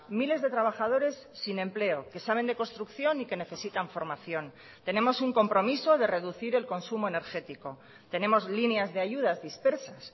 miles de trabajadores sin empleo que saben de construcción y que necesitan formación tenemos un compromiso de reducir el consumo energético tenemos líneas de ayudas dispersas